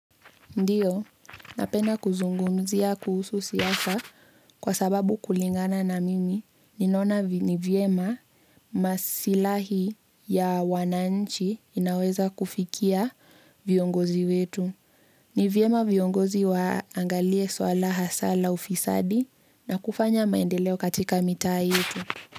Ndiyo, napenda kuzungumzia kuhusu siasa kwa sababu kulingana na mimi, ninaona ni vyema masilahi ya wananchi inaweza kufikia viongozi wetu. Ni vyema viongozi waangalie swala hasa la ufisadi na kufanya maendeleo katika mitaa yetu.